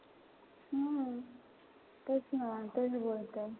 हम्म तेच ना तेच बोलतेय.